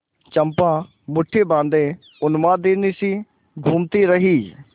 चंपा मुठ्ठी बाँधे उन्मादिनीसी घूमती रही